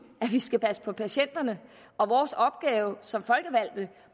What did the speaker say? at vi skal passe på patienterne og vores opgave som folkevalgte